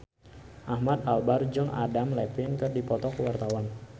Ahmad Albar jeung Adam Levine keur dipoto ku wartawan